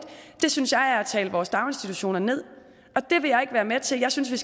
synes jeg er at tale vores daginstitutioner ned og det vil jeg ikke være med til jeg synes vi